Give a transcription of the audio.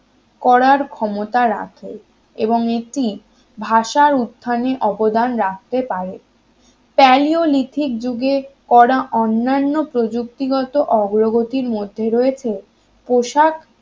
করার ক্ষমতা রাখে এবং এটি ভাষার উত্থানের অবদান রাখতে পারে প্যালিওলিথিক যুগে করা অন্যান্য প্রযুক্তিগত অগ্রগতির মধ্যে রয়েছে পোশাক